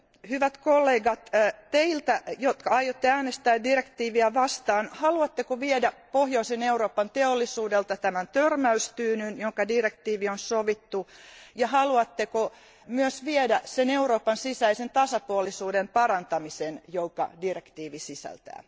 Hyvät kollegat, kysyn teiltä, jotka aiotte äänestää direktiiviä vastaan Haluatteko viedä pohjoisen Euroopan teollisuudelta tämän törmäystyynyn, jonka direktiivi on sovittu, ja haluatteko myös viedä sen Euroopan sisäisen tasapuolisuuden parantamisen, jonka direktiivi sisältää?